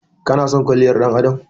Ki/ka na son kwalliyar ɗan adam?